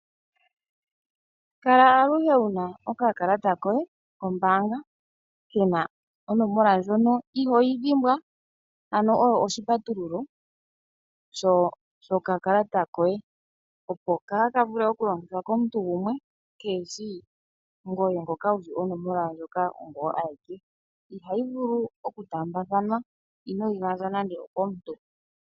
Kala aluhe wuna okakakata koye kombaanga kana onomola ndjono ihooyi dhimbwa ano oyo oshipatululo shokakalata koye opo kaa ka vule okulongithwa komuntu gumwe keeshi ngoye ngoka wushi onomola ndjoka ongoye ayeke ihayi vulu okutaambathanwa inoyi gandja nande okomuntu